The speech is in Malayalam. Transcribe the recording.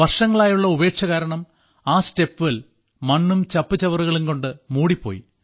വർഷങ്ങളായുള്ള ഉപേക്ഷ കാരണം ആ സ്റ്റെപ്വെൽ മണ്ണും ചപ്പുചവറുകളും കൊണ്ട് മൂടിപ്പോയി